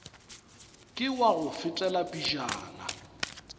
ke wa go fetela pejana